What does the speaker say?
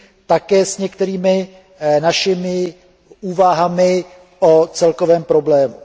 také s některými našimi úvahami o celkovém problému.